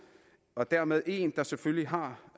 og dermed en der selvfølgelig har